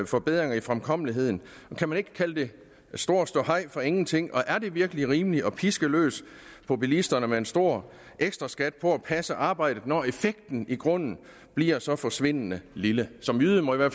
forbedringer i fremkommeligheden kan man ikke kalde det stor ståhej for ingenting og er det virkelig rimeligt at piske løs på bilisterne med en stor ekstraskat på at passe arbejdet når effekten i grunden bliver så forsvindende lille som jyde må jeg